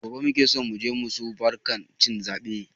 Gobe muke so muje musu barkan cin zaɓe